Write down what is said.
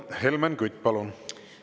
Helmen Kütt, palun!